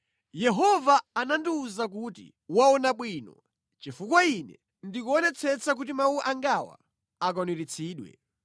Yehova anandiwuza kuti, “Waona bwino, chifukwa Ine ndikuonetsetsa kuti mawu angawa akwaniritsidwe.”